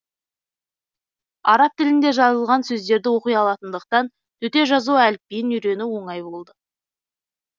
араб тілінде жазылған сөздерді оқи алатындықтан төте жазу әліпбиін үйрену оңай болды